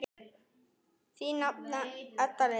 Þín nafna Edda Lind.